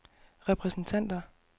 repræsentanter